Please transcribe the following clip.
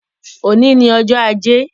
Òní ni ọjọ́ ajé